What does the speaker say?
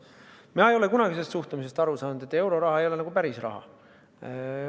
Ma ei ole kunagi aru saanud suhtumisest, et euroraha ei ole nagu päris raha.